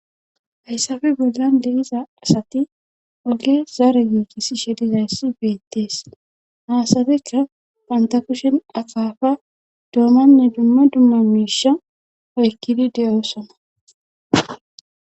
Hayssafe bollan deiza asati woge zaara giigissi shedizayssi beettees haasadekka panta kushen akaafa doomanne dumma dumma miisha oykkidi de'osona.